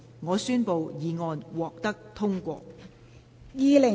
我宣布議案獲得通過。